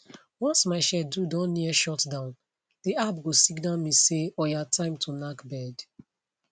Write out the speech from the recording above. once my schedule don near shutdown the app go signal me say oya time to knack bed